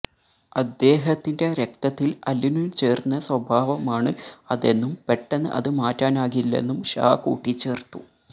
അദ്ദേഹത്തിന്റെ രക്തത്തിൽ അലിഞ്ഞു ചേർന്ന സ്വഭാവമാണ് അതെന്നും പെട്ടെന്ന് അത് മാറ്റാനാകില്ലെന്നും ഷാ കൂട്ടിച്ചേർത്തു